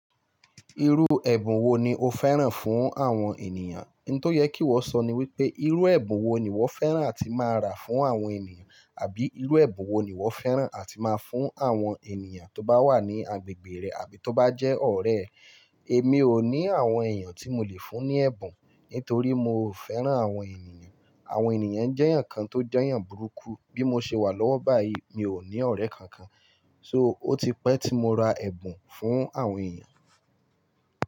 Irú ẹ̀bùn wo ni o fẹ́ràn fún àwọn ènìyàn? N tó yẹ kí iwọ sọ ni wípé irú ẹ̀bùn wo ni ìwọ fẹ́ràn àti máa ra fún àwọn ènìyàn àbí irú ẹ̀bùn wo ni ìwọ fẹ́ràn àti máa fún àwọn ènìyàn tó bá wà ní agbègbè rẹ àbí tó bá jẹ́ ọ̀rẹ́ ẹ. Èmi ò ní àwọn èèyàn tí mò lè fún ní ẹ̀bùn nítorí mò o fẹ́ràn àwọn ènìyàn. Àwọn ènìyàn jẹ́ èèyàn kan tó jẹ́ èèyàn burúkú. Bí mo ṣe wà lọ́wọ́ báyìí, mi ò ní ọ̀rẹ́ kankan. So ó ti pẹ́ tí mo ra ẹ̀bùn fún àwọn èèyàn.